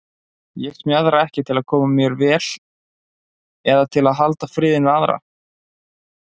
Ég smjaðra ekki til að koma mér vel eða til að halda friðinn við aðra.